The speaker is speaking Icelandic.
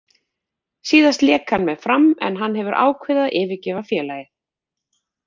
Síðast lék hann með Fram en hann hefur ákveðið að yfirgefa félagið.